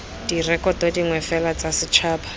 direkoto dingwe fela tsa setšhaba